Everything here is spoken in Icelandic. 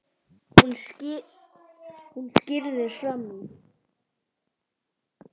Hún skríður fram í.